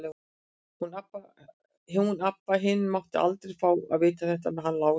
Hún Abba hin mátti aldrei fá að vita þetta með hann Lása.